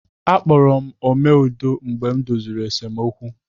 A kpọrọ m "Ome Udo" mgbe m doziri esemokwu.